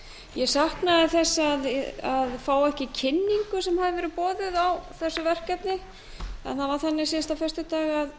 ég saknaði þess að fá ekki kynningu sem hafði verið boðuð á þessu verkefni en það var þannig síðastliðinn föstudag að